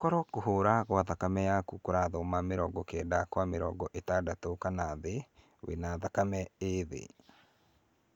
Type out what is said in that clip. Koro kũhũra kwa thakame yaku kũrathoma mĩrongo kenda kwa mĩrongo ĩtandatũ kana thĩ, wĩ na thakame ĩ thĩ.